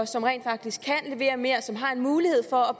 som rent faktisk kan levere mere og som har en mulighed for at